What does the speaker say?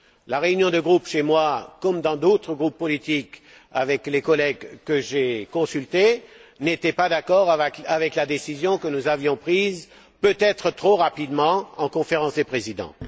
La réunion de groupe, chez moi comme dans d'autres groupes politiques, avec les collègues que j'ai consultés, n'était pas d'accord avec la décision que nous avions prise, peut être trop rapidement, en Conférence des présidents.